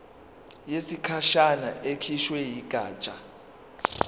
yesikhashana ekhishwe yigatsha